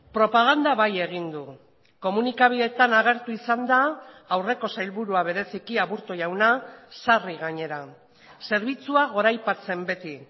propaganda bai egin du komunikabideetan agertu izan da aurreko sailburua bereziki aburto jauna sarri gainera zerbitzua goraipatzen beti